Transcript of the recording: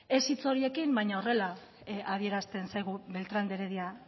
ez hitz horiekin baina horrela adierazten zaigu beltrán de heredia